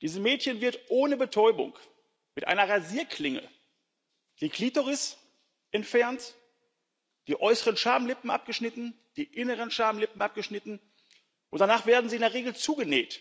Diesen Mädchen wird ohne Betäubung mit einer Rasierklinge die Klitoris entfernt, die äußeren Schamlippen abgeschnitten, die inneren Schamlippen abgeschnitten, und danach werden sie in der Regel zugenäht,